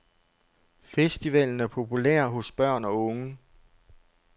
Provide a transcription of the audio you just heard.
Festivalen er populær hos børn og unge.